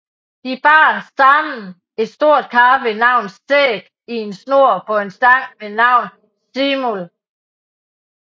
De bar sammen et stort kar ved navn Sæg i en snor på en stang ved navn Simul